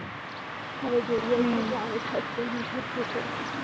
હવે જોઈએ ક્યારે થશે કે નહીં થશે વાહ